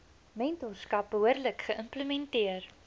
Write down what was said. mentorskap behoorlik geïmplementeer